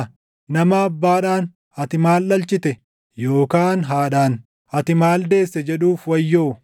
Nama Abbaadhaan, ‘Ati maal dhalchite?’ yookaan haadhaan, ‘Ati maal deesse?’ jedhuuf wayyoo.